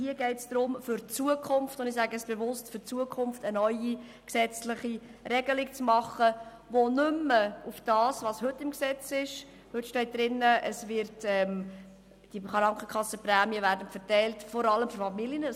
Hier geht es darum, für die Zukunft – ich sage es bewusst: für die Zukunft – eine neue gesetzliche Regelung zu machen, die nicht mehr auf dem, was heute im Gesetz steht basiert, wonach nämlich die Prämienverbilligungen vor allem an Familien verteilt werden.